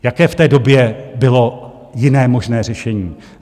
Jaké v té době bylo jiné možné řešení?